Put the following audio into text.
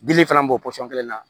Dili fana b'o pɔsɔn kelen na